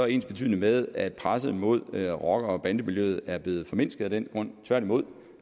ensbetydende med at presset mod rocker bande miljøet er blevet formindsket af den grund tværtimod